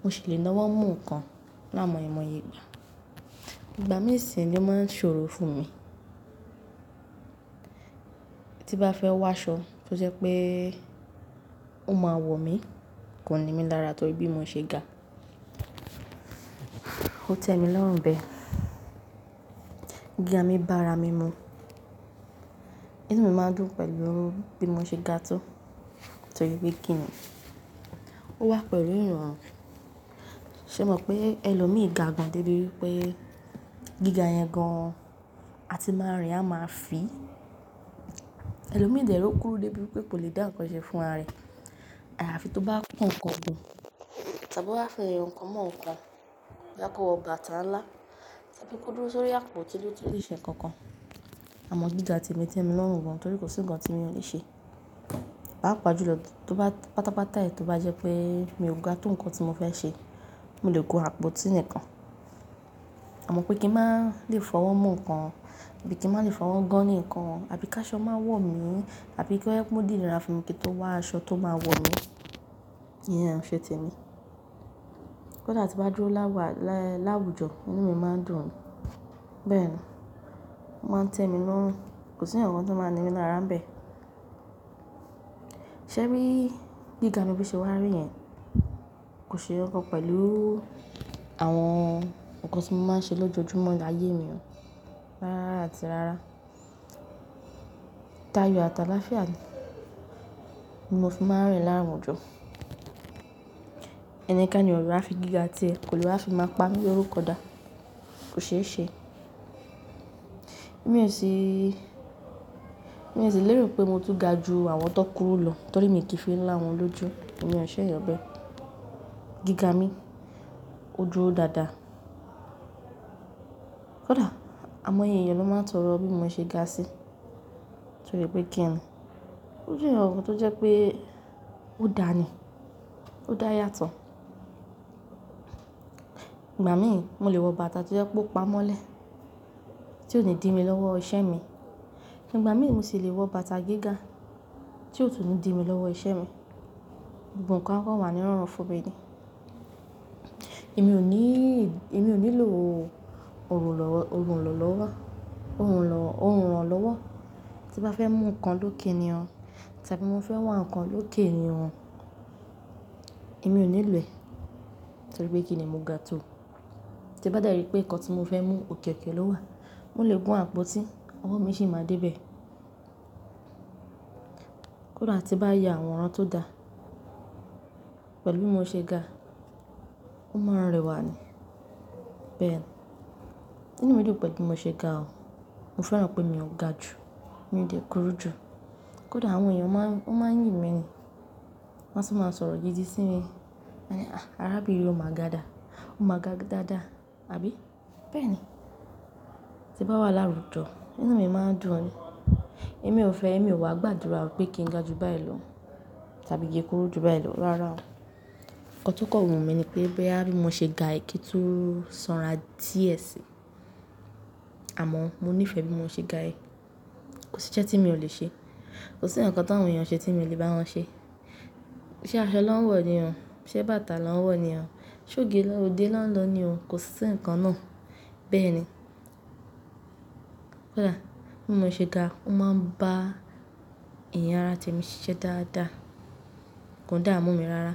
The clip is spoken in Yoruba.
mo sì le nawọ́ mú nǹkan láàmoye mọye igbà. Ìgbà mìí sì ni ọ́ máa ń ṣòro fún mi. Tí n bá fẹ́ wá aṣọ tó jẹ́ pé ó máa wọ̀ mí, kòn nimi lára torí bí mo ṣe ga. Ó tẹ mi lọ́rùn bẹ́ẹ̀. Gíga mi bá ara mi mu. Inú mi máa ń dùn pẹ̀lú bí mo ṣe ga tó, torí pé kí ni, ó wà pẹ̀lú ìrọ̀rùn. Ṣé o mọ̀ pé ẹlòmíì ga gan débi wipé gíga yẹn gan àti máa rìn, a máa fì. Ẹlòmíì dẹ̀ rò kúrú débi pé kò le dá ǹkan ṣe fún ara rẹ̀. Àfi tó bá kọ́ ǹkan gùn tàbí ó bá fẹ́ ẹni ǹkan mọ́ ǹkan, máa kó ọ bàtà ńlá tàbí kó dúró sórí àpótí lé tí lè ṣe nǹkan kan. Àmọ́ gíga ti mi tẹ mi lọ́rùn gan torí kò sí nǹkan tí mo le ṣe. Papàájù lọ, tó bá pátápátá ẹ, tó bá jẹ́ pé mi ò ga tó ǹkan tí mo fẹ́ ṣe, mo lè gún àpótí nìkan. Àmọ́ pé kí n máa le fọwọ́ mú ǹkan, bí kí n máa le fọwọ́ gan ní ǹkan, àbí ká aṣọ máa wọ̀ mí, àbí kí ó mú ódìni ra fún mi kí n tó wá aṣọ tó máa wọ̀ mí, iyẹn ò ṣe tèmi. Kódà tí bá dúró láwà lá-láwùjọ, inú mi máa ń dùn ni. Bẹ́ẹ̀ni, ó máa ń tẹ́ mi lọ́rùn. Kò sí ǹkan tí ó máa ni mí lára bẹ́ẹ̀. Ṣé rí, gíga mi bí ṣe wà rí yẹn kò ṣe nǹkankan pẹ̀lú àwọn ǹkan tí mo máa ń ṣe lójoojúmọ́ áyé mi o. Rárá àti rárá. Táyo àtàlàafia ni. Ni mò fi máa rìn láwùjọ. Ẹnikeni ọ̀ le wá fi gíga tiẹ, kò le wáa fi maa pamí lorúkọ dà. Kò ṣe é ṣe. Èmi ò sì, èmi ò sì lérò pé mo tún ga ju àwọn tó kúrú lọ torí mi kì í fi ń là wọ́n lójú. Èmi ò ṣẹ̀yan bẹ́ẹ̀. Gíga mi ó dúró dáadáa. Kódà àwọn èèyàn ló máa ń tọrọ bí mo ṣe ga sí, torí pé kí ni, ó jẹ́ ǹkan tó jẹ́ pé ó dáa ni. Ó dáa yàtọ̀. Ìgbà míì mo lè wọ bàtà tó jẹ́ pé ó pa mọ́lẹ̀, tí ò ní dì mi lọ́wọ́ iṣẹ́ mi. Nígbà míì mo sì le wọ bàtà gíga tí ò tún lè dì mi lọ́wọ́ iṣẹ́ mi. Gbogbo nkan a kọ̀ wà ní'rọrùn fún mi ni. Èmi ò ní, èmi ò nílò oluranlọ́wọ́, tí bá fẹ́ mú ǹkan lókè ni o, tàbí mo fẹ́ wa ǹkan lókè ni o. Èmi ò nílò ẹ̀ torí pé kí ni mo ga tó. Tí bá de rí pé ǹkan tí mo fẹ́ mú òkẹ̀ okẹ́ lọ́wa, mo lè gún àpótí, ọwọ́ mi si maa débẹ̀. Kódà tí bá ya àwọràn tó dá pẹ̀lú bí mo ṣe ga, ó máa rẹwà ni. Bẹ́ẹ̀ ni. Inú mi dùn pẹ̀lú bí mo ṣe ga o. Mo feran pe mii ga ju, mi de kuru ju. Kódà àwọn èèyàn máa ń, wọ́n máa ń yìn mi ni. Wọ́n sì máa ń sọ̀rọ̀ gidi sí mi. Wọ́n máa ní, "à, arábìnrin òun máa ga dà. Ó máa ga dáadáa." Àbí? Bẹ́ẹ̀ ni. Tí bá wà láwùjọ, inú mi máa ń dùn ni. Èmi ò fẹ́, èmi ò wá gbàdúrà pé kí n ga ju báyìí lọ tàbí kí n kúrú ju báyìí lọ rárá o. Ǹkan tó kan wumi ni pé boya bí mo ṣe ga yìí kí tú sanra díẹ̀ síi. Àmọ́ mo nífẹ̀ẹ́ bí mo ṣe ga yìí. Kò sí iṣẹ́ tí mio ò lè ṣe. Kò sí ǹkankan tàwọn èèyàn ṣe tí mi ò lè bá wọn ṣe. Ṣé aṣọ lọ́ń wọ̀ ni o, ṣé bàtà lọ́ń wọ̀ ni o, ṣé ògiri lọ́ń dé lọ́ń lọ ni o, kò sí ǹkan náà. Bẹ́ẹ̀ ni. Kódà bí mo ṣe ga, ó máa ń bá ẹ̀yà ara temi siṣe dáadáa. Kòn dáamú mi rárá.